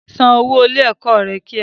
San owó ilé ẹ̀kọ́ rẹ kíá!